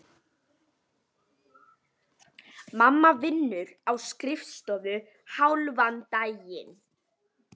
Mamma vinnur á skrifstofu hálfan daginn.